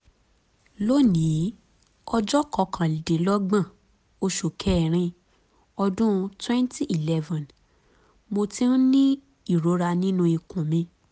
lónìí ọjọ́ kọkàndínlọ́gbọ̀n oṣù kẹ́rin ọdún 2011 mo ti ń ní ìrora nínú ikùn mi